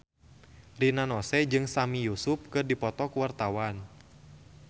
Rina Nose jeung Sami Yusuf keur dipoto ku wartawan